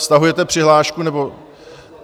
Stahujete přihlášku, nebo...?